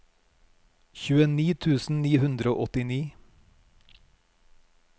tjueni tusen ni hundre og åttini